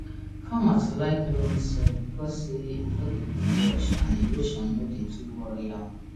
farmers like loamy soil because say e no dey quick wash and erosion no dey too worry am